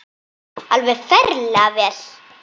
Alveg ferlega vel.